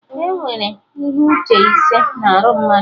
Enwere ihe uche ise na arụ mmadụ